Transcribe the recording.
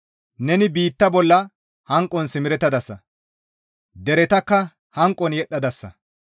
Neni biitta bolla hanqon simerettadasa; deretakka hanqon yedhdhadasa.